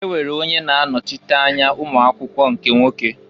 E nwere onye na-anochite anya ụmụakwụkwọ nke nwoke.